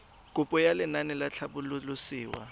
kopo ya lenaane la tlhabololosewa